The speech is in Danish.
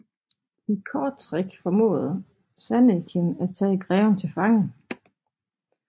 I Kortrijk formåede Zannekin at tage greven til fange